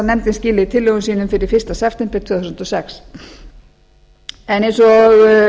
nefndin skili tillögum sínum fyrir fyrsta september tvö þúsund og sex eins og